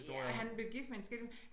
Ja han blev gift men skilt